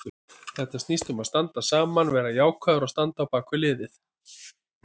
Þetta snýst um að standa saman, vera jákvæður og standa á bakvið liðið.